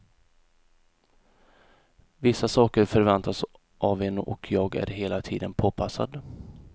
Vissa saker förväntas av en och jag är hela tiden påpassad.